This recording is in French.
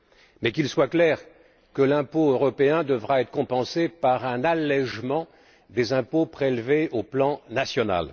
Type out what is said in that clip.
Mais qu'il soit clair que l'impôt européen devra être compensé par un allégement des impôts prélevés au plan national.